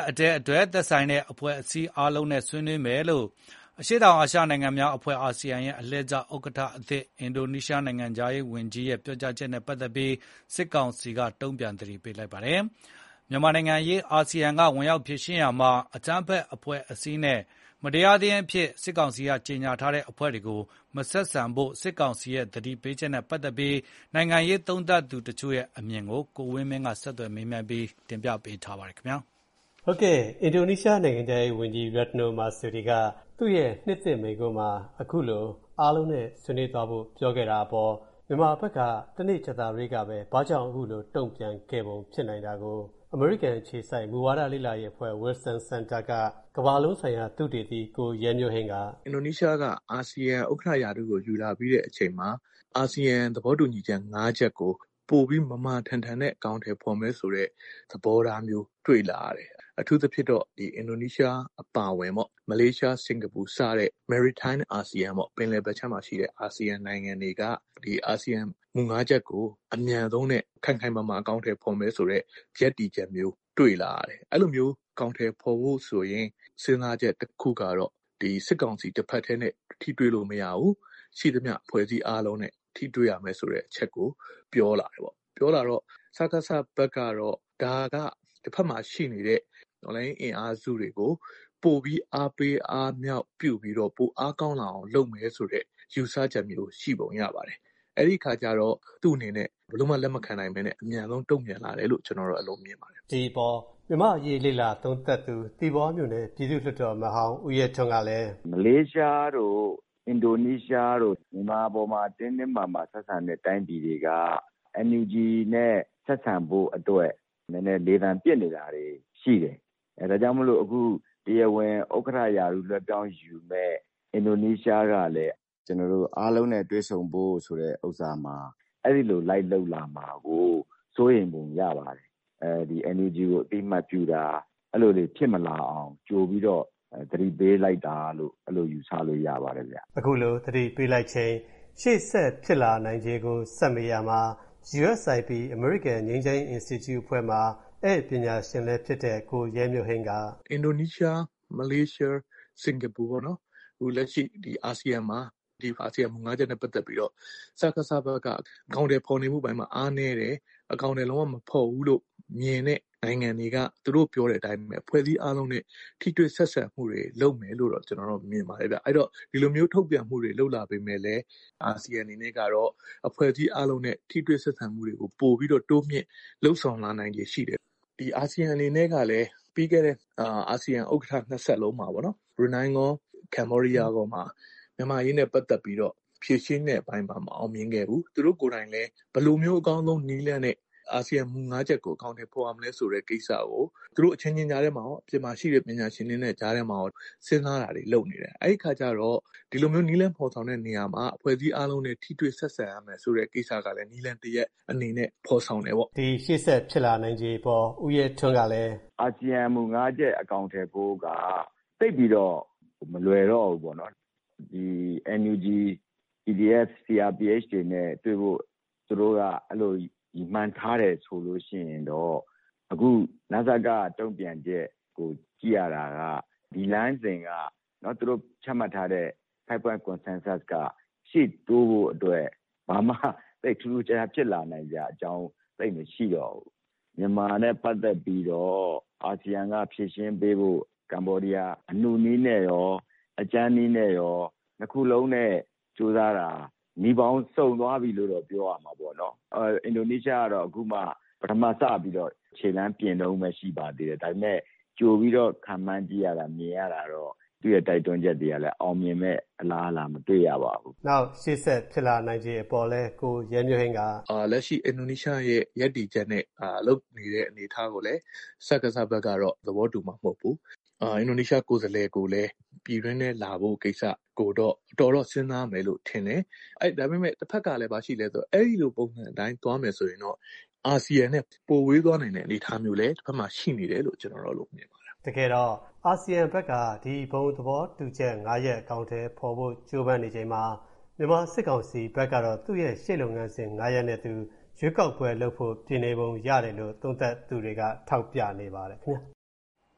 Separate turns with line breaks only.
အတည်းအတွက် သက်ဆိုင်တဲ့ အဖွဲ့အစည်း အားလုံးနဲ့ဆွေးနွေးမယ်လို့ အရှေ့တောင်အာရှနိုင်ငံများအဖွဲ့ အာဆီယံ အလှည့်ကျဥက္ကဋ္ဌသစ် အင်ဒိုနီးရှားနိုင်ငံခြားရေးဝန်ကြီးရဲ့ ပြောကြားချက်နဲ့ပတ်သက်ပြီး စစ်ကောင်စီက တုံ့ပြန်သတိပေးလိုက်ပါတယ်။ မြန်မာနိုင်ငံအရေး အာဆီယံကဝင်ရောက်ဖြေရှင်းရာမှာ အကြမ်းဖက်အဖွဲ့အစည်းနဲ့ မတရားသင်းအဖြစ် စစ်ကောင်စီကြညာထားတဲ့အဖွဲ့တွေကို မဆက်ဆံဖို့ စစ်ကောင်စီရဲ့ သတိပေးချက်နဲ့ ပတ်သက်ပြီး နိုင်ငံရေးသုံးသပ်သူတွေရဲ့အမြင်တွေကို ကိုဝင်းမင်းက မေးမြန်း တင်ပြပေးထားပါတယ်။ အင်ဒိုနီးရှားနိုင်ငံခြားရေးဝန်ကြီး Retno Marsudi က သူ့ရဲ့နှစ်သစ်မိန့်ခွန်းမှာ အခုလို အားလုံးနဲ့ဆွေးနွေးသွားဖို့ ပြောခဲ့တာအပေါ် မြန်မာဘက်က ကြာသပတေးနေ့ကပဲ ဘာကြောင့်အခုလို တုံ့ပြန်သွားခဲ့ပုံဖြစ်နိုင်တာကို အမေရိကန်အခြေစိုက် မူဝါဒလေ့လာရေးအဖွဲ့ Wilson Center က ကမ္ဘာလုံးဆိုင်ရာသုတေသီ ကိုရဲမျိုးဟိန်းက
အခုလို ပြောပါတယ်။ “အင်ဒိုနီးရှားက အာဆီယံဥက္ကဋ္ဌရာထူးကိုယူလာပြီးတဲ့အချိန်မှာ အာဆီယံသဘောတူညီချက်ငါးချက်ကို ပိုပြီးမာမာထန်ထန်နဲ့အကောင်အထည်ဖော်မယ်ဆိုတဲ့သဘောထားမျိုး တွေ့လာရတယ်။ အထူးသဖြင့်တော့ အင်ဒိုနီးရှားအပါအဝင်ပေါ့- မလေးရှား၊ စင်ကာပူစတဲ့ maritime ASEAN ပေါ့၊ ပင်လယ်ဘက်ခြမ်းမှာရှိတဲ့ အာဆီယံနိုင်ငံတွေက အာဆီယံမူငါးချက်ကို အမြန်ဆုံးနဲ့ ခိုင်ခိုင်မာမာအကောင်အထည်ဖော်မယ်ဆိုတဲ့ ရပ်တည်ချက်မျိုး တွေ့လာရတယ်။ အဲလိုမျိုး အကောင်အထည်ဖော်ဖို့ဆိုရင် စဉ်းစားချက်တခုကတော့ စစ်ကောင်စီတဘက်တည်းနဲ့ ထိတွေ့လို့မရဘူး၊ ရှိသမျှအဖွဲ့အစည်းအားလုံးနဲ့ ထိတွေ့ရမယ်ဆိုတဲ့အချက်ကို ပြောလာတယ်ပေါ့။ စကစဘက်ကတော့ ဒါက တဘက်မှာရှိနေတဲ့ တော်လှန်ရေးအင်အားစုတွေကို ပိုပြီး အားပေးအားမြှောက်ပြုပြီးတော့ ပိုအားကောင်းလာအောင် လုပ်နေတယ်ဆိုတဲ့ယူဆချက်မျိုး ရှိပုံရပါတယ်။ အဲဒီအခါကျတော့ သူ့အနေနဲ့ ဘယ်လိုမှ လက်မခံနိုင်ဘဲနဲ့ အမြန်ဆုံးတုံ့ပြန်လာတယ်လို့ ကျနော်တော့ အဲလိုမြင်ပါတယ်။ ဒီအပေါ် မြန်မာ့အရေးလေ့လာသုံး
သပ်သူ သီပေါမြို့နယ်၊ ပြည်သူ့လွှတ်တော်အမတ်ဟောင်း ဦးရဲထွန်းကလည်း
အခုလို ပြောပါတယ်။ “မလေးရှားတို့၊ အင်ဒိုနီးရှားတို့ မြန်မာအပေါ်မှာ တင်းတင်းမာမာဆက်ဆံတဲ့တိုင်းပြည်တွေက NUG နဲ့ဆက်ဆံဖို့အတွက် လေသံပစ်နေတာတွေရှိတယ်။ ဒါကြောင့်မို့လို့ အခု တရားဝင်ဥက္ကဋ္ဌရာထူးလည်းပြောင်းယူမယ့် အင်ဒိုနီးရှားကလည်း အားလုံးနဲ့တွေ့ဆုံဖို့ဆိုတဲ့ဥစ္စာမှာ- အဲဒီလို လိုက်လုပ်လာမှာကို စိုးရိမ်ပုံရပါတယ်။ NUG ကို အသိအမှတ်ပြုတာ-အဲလိုတွေဖြစ်မလာအောင် ကြိုပြီးတော့ သတိပေးလိုက်တာလို့ - အဲဒီလိုယူဆလို့ရပါတယ်ဗျ။”
အခုလို သတိပေးလိုက်ချိန် ရှေ့ဆက်ဖြစ်လာနိုင်ခြေကို ဆက်မေးရာမှာ USIP အမေရိကန်ငြိမ်းချမ်းရေး အင်စတီကျုအဖွဲ့မှာ ဧည့်ပညာရှင်လည်းဖြစ်တဲ့ ကိုရဲမျိုးဟိန်
းက - “အင်ဒိုနီးရှား၊ မလေးရှား၊ စင်ကာပူပေါ့နော်-အခု လက်ရှိ အာဆီယံမှာ အာဆီယံမူငါးချက်နဲ့ပတ်သက်ပြီးတော့ စကစဘက်က အကောင်အထည်ဖော်နေမှုအပိုင်းမှာအားနည်းတယ်၊ အကောင်အထည်လုံးဝ မဖော်ဘူးလို့ မြင်တဲ့နိုင်ငံတွေက သူတို့ပြောတဲ့အတိုင်းပဲ။ အဖွဲ့အစည်းအားလုံးနဲ့ထိတွေ့ဆက်ဆံမှုတွေ လုပ်မယ်လို့တော့ ကျနော်တော့မြင်ပါတယ်ဗျ။ အဲဒီတော့ ဒီလိုမျိုး ထုတ်ပြန်မှုတွေ လုပ်လာပေမဲ့လည်း အာဆီယံအနေနဲ့ကတော့ အဖွဲ့အစည်းအားလုံးနဲ့ထိတွေ့ဆက်ဆံမှုတွေကို ပိုပြီးတော့ တိုးမြှင့်လုပ်ဆောင်လာနိုင်ခြေရှိတယ်။ ဒီအာဆီယံအနေနဲ့ကလည်း ပြီးခဲ့တဲ့အာဆီယံဥက္ကဋ္ဌ နှစ်ဆက်လုံး-ဘရူနိုင်းရော၊ ကမ္ဘောဒီးယားရောမှာ မြန်မာ့အရေးနဲ့ပတ်သက်ပြီးတော့ ဖြေရှင်းတဲ့အပိုင်းမှာ မအောင်မြင်ခဲ့ဘူး။ သူတို့ကိုယ်တိုင်လည်း ဘယ်လိုမျိုး အကောင်းဆုံးနည်းလမ်းနဲ့ အာဆီယံမူငါးချက်ကို အကောင်အထည်ဖော်ရမလဲဆိုတဲ့ကိစ္စကို သူတို့အချင်းချင်းကြားထဲမှာရော အပြင်မှာရှိတဲ့ပညာရှင်တွေနဲ့ကြားထဲမှာကော စဉ်းစားတာတွေ လုပ်နေတယ်။ အဲဒီအခါကျတော့ ဒီလိုမျိုး နည်းလမ်းဖော်ဆောင်တဲ့နေရာမှာ အဖွဲ့အစည်းအားလုံးနဲ့ ထိတွေ့ဆက်ဆံရမယ်ဆိုတဲ့ကိစ္စကလည်း နည်းလမ်းတရပ်အနေ
နဲ့ ဖော်ဆောင်တယ်ပေါ့။” ဒီရှေ့ဆက်ဖြစ်လာနိုင်ခြေအပေါ် ဦးရဲထွန်းကလည်း -
“အာဆီယံမူငါးချက် အကောင်အထည်ဖော်ဖို့က သိပ်ပြီးတော့ မလွယ်တော့ဘူးပေါ့နော်၊ NUG- PDF - CRPH တွေနဲ့တွေ့ဖို့ သူတို့က အဲလိုရည်မှန်းထားတယ်ဆိုလို့ရှိရင်တော့ အခု နစက တုံ့ပြန်ချက်ကိုကြည့်ရတာက ဒီလမ်းစဉ်က သူတို့ချမှတ်ထားတဲ့ 5 points consensus ရှေ့တိုးဖို့အတွက် ဘာမှ သိပ်ထူးထူးခြားခြားဖြစ်လာနိုင်စရာအကြောင်း သိပ်မရှိတော့ဘူး။ မြန်မာနဲ့ပတ်သက်ပြီးတော့ အာဆီယံကဖြေရှင်းပေးဖို့ ကမ္ဘောဒီးယားက အနုနည်းနဲ့ရော အခု အကြမ်းနည်းနဲ့ရော နှစ်ခုလုံးနဲ့ကြိုးစားတာ နည်းပေါင်းစုံသွားပြီလို့တော့ ပြောရမှာပေါ့နော်။ အင်ဒိုနီးရှားကတော့ အခုက ပထမစပြီးတော့ ခြေလှမ်းပြင်တုန်းပဲရှိပါသေးတယ်။ ဒါပေမဲ့ ကြိုပြီးတော့ ခန့်မှန်းကြည့်ရတာ မြင်ရတာတော့ သူ့ရဲ့တိုက်တွန်းချက်တွေကလည်း အောင်မြင်မယ့်အလားအလာ မတွေ့ရပါဘူးဗ
ျ။” နောက် ရှေ့ဆက်ဖြစ်လာနိုင်ခြေအပေါ်လည်း ကိုရဲမျိုးဟိန်းက -
“လက်ရှိ အင်ဒိုနီးရှားရဲ့ရပ်တည်ချက်နဲ့ လုပ်နေတဲ့အနေအထားကိုလည်း စကစဘက်ကတော့ သဘောတူမှာမဟုတ်ဘူး။ အင်ဒိုနီးရှားကိုယ်စားလှယ်ကိုလည်း ပြည်တွင်းထဲလာဖို့ကိစ္စကိုလည်း တော်တော်တော့စဉ်းစားမယ်လို့ ထင်တယ်။ တဘက်ကလည်း ဘာရှိလဲဆိုတော့ အဲဒီလိုပုံစံအတိုင်း သွားမယ်ဆိုရင်တော့ အာဆီယံနဲ့ ပိုဝေးသွားနိုင်တဲ့အနေအထားမျိုးလည်း တဘက်မှာရှိနေတယ်လို့ ကျနော်တော့ အဲဒီလိုမြင်ပါ
တယ်ခင်ဗျ။” တကယ်တော့ အာဆီယံဘက်က ဒီဘုံသဘောတူညီချက်ငါးချက် အကောင်အထည်ဖော်ဖို့ ကြိုးပမ်းနေချိန်မှာ မြန်မာစစ်ကောင်စီဘက်ကတော့ သူ့ရဲ့ရှေ့လုပ်ငန်းစဉ်ငါးရပ်နဲ့သူ ရွေးကောက်ပွဲလုပ်ဖို့ ပြင်နေပုံရတယ်လို့ သုံးသပ်သူတွေက ထောက်ပြနေကြပါတယ်ခင်ဗျား။